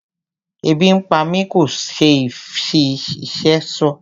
Ebi ń pá mi kò ṣe fí ìfé sọ.